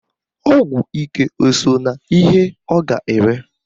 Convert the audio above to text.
Ọgwụ ike o so n'ihe ọ ga-ere?